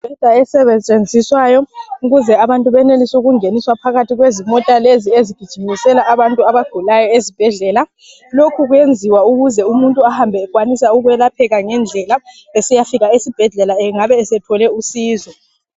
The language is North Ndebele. Imibheda esetshenziswayo ukuyenzala ukuthi abantu beneliswe ukungeniswa phakathi kwezimota lezi ezigijimisela abantu esibhedlela lokhu kwenziwa ukwenzela ukuthi umuntu ehambe eyelapheka ngendlela esiyafika esibhedlela engabe esethole usizo